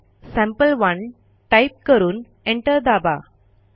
cat संपे1 type करून enter दाबा